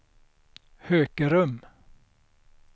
Hökerum